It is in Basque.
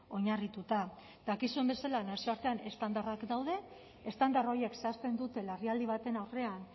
oinarrituta dakizuen bezala nazioartean estandarrak daude estandar horiek zehazten dute larrialdi baten aurrean